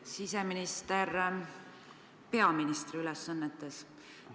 Hea siseminister peaministri ülesannetes!